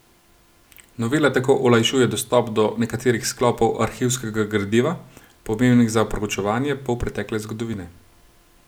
Novela tako olajšuje dostop do nekaterih sklopov arhivskega gradiva, pomembnih za proučevanje polpretekle zgodovine.